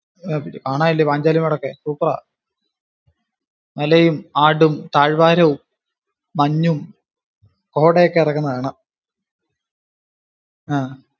കാണാനില്ലിയോ പാഞ്ചാലിമേടൊക്കെ super ആ. മലയും, ആടും, താഴ്വാരവും മഞ്ഞും, കൊടെ ഒക്കെ ഇറങ്ങുന്നേ കാണാം. ആഹ്